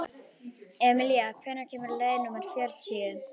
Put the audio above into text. Emilía, hvenær kemur leið númer fjörutíu?